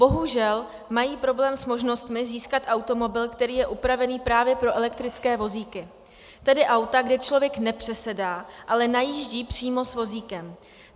Bohužel mají problém s možnostmi získat automobil, který je upravený právě pro elektrické vozíky, tedy auta, kde člověk nepřesedá, ale najíždí přímo s vozíkem.